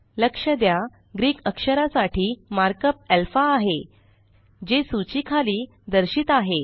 लक्ष द्या ग्रीक अक्षरासाठी मार्कअप alphaआहे जे सूची खाली दर्शित आहे